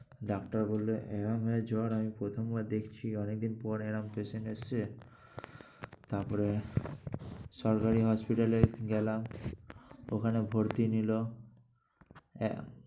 Doctor বলল, এরম ভাবে জ্বর আমি প্রথমবার দেখছি অনেক দিন পরে এরকম patient এসছে। তারপরে সরকারি hospital এ গেলাম। ওখানে ভর্তি নিল। এ~